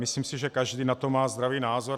Myslím si, že každý na to má zdravý názor.